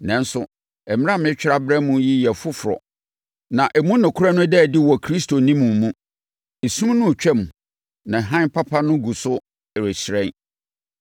Nanso, mmara a meretwerɛ abrɛ mo yi yɛ foforɔ na emu nokorɛ no da adi wɔ Kristo ne mo mu. Esum no retwam na hann papa no gu so rehyerɛn.